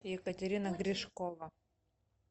екатерина гришкова